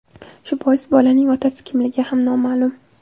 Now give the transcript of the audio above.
Shu bois bolaning otasi kimligi ham noma’lum.